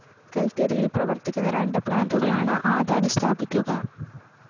കല്‍ക്കരിയില്‍ പ്രവര്‍ക്കുന്ന രണ്ട് പ്ലാന്റുകളാണ് അദാനി സ്ഥാപിക്കുക